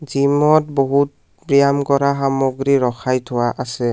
জিমত বহুত ৱ্যাম কৰা সামগ্ৰী ৰখাই থোৱা আছে।